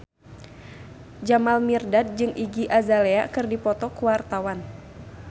Jamal Mirdad jeung Iggy Azalea keur dipoto ku wartawan